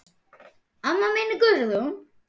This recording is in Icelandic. Amma mín Guðrún.